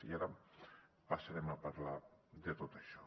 i ara passarem a parlar de tot això